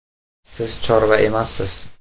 Siz chorva emassiz!